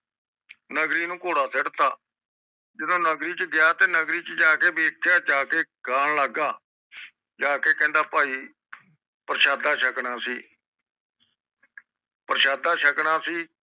ਨੰਗਰੀ ਨੂੰ ਕੋਰੜਾ ਸੁੱਟ ਤਾ ਜਦੋ ਨਗਰੀ ਚ ਗਿਆ ਨਗਰੀ ਚ ਜਾ ਕੇ ਵਹਿਣ ਲੱਗਦਾ ਕਹਿੰਦਾ ਭਾਈ ਪਾਰਸ਼ਦ ਸ਼ਕਣਾ ਸੀ ਪ੍ਰਸ਼ਾਦਾ ਸ਼ਕਣਾ ਸੀ